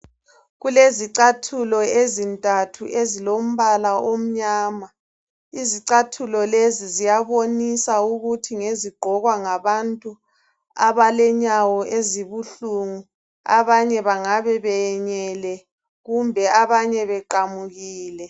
Kulezicathulo ezintathu ezilombala omnyama. Izicathulo lezi ziyabonisa ukuthi ngezigqokwa ngabantu abalenyawo ezibuhlungu abanye bangabe beyenyele kumbe abanye beqamukile.